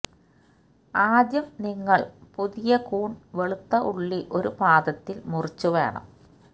ആദ്യം നിങ്ങൾ പുതിയ കൂൺ വെളുത്ത ഉള്ളി ഒരു പാദത്തിൽ മുറിച്ചു വേണം